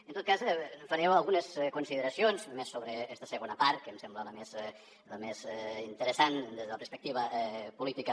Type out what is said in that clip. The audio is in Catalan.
en tot cas faré algunes consideracions més sobre aquesta segona part que em sembla la més interessant des de la perspectiva política